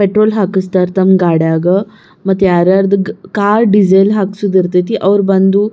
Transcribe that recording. petrol ಹಾಕಸ್ತಾ ಇರ್ತಾನ್ ಗಾಡ್ಯಾಗ್ ಮತ್ತ್ ಯಾರು ಯಾರದು ಕ್ ಕಾರ್ ಡೀಸೆಲ್ ಹಾಕ್ಸೋದಿರತೈತಿ ಅವ್ರು ಬಂದು --